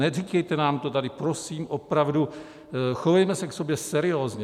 Neříkejte nám to tady prosím, opravdu, chovejme se k sobě seriózně.